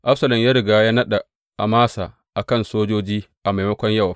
Absalom ya riga ya naɗa Amasa a kan sojoji a maimakon Yowab.